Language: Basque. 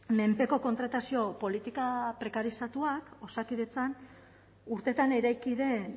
menpeko kontratazio politika prekarizatuak osakidetzan urteetan eraiki den